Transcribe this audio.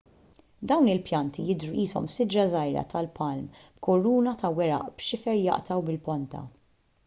dawn il-pjanti jidhru qishom siġra żgħira tal-palm b'kuruna ta' weraq b'xifer jaqta' u bil-ponta